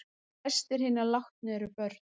Flestir hinna látnu eru börn